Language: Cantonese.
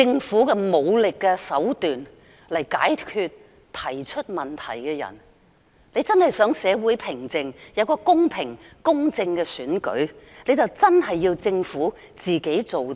以武力手段來解決提出問題的人。如果政府真的想社會回復平靜，有一個公平、公正的選舉，政府便要認真做事。